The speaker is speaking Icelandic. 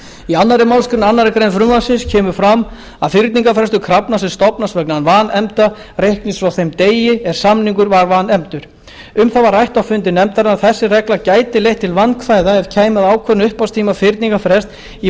í annarri málsgrein annarrar greinar frumvarpsins kemur fram að fyrningarfrestur krafna sem stofnast vegna vanefnda reiknist frá þeim degi er samningur var vanefndur um það var rætt á fundi nefndarinnar að þessi regla gæti leitt til vandkvæða ef kæmi að ákvörðun upphafstíma fyrningarfrests í